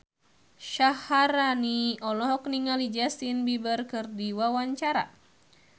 Syaharani olohok ningali Justin Beiber keur diwawancara